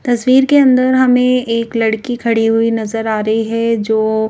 तस्वीर के अंदर हमें एक लड़की खड़ी हुई नजर आ रही है जो --